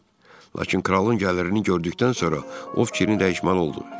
Lakin kralın gəlirini gördükdən sonra o fikrini dəyişməli oldu.